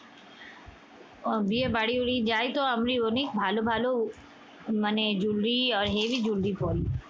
উহ বিয়ে বাড়ি বাড়ি যাইতো আমরি অনেক ভালো ভালো মানে jewelry আহ heavy jewelry পড়ি।